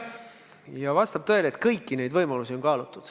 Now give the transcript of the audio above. Jah, vastab tõele, et kõiki neid võimalusi on kaalutud.